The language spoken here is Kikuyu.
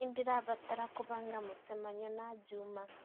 nĩ ndĩrabatara kũbanga mũcemanio na juma